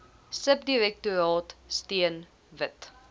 subdirektoraat steun wit